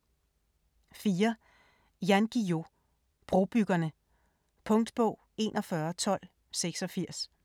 4. Guillou, Jan: Brobyggerne Punktbog 411286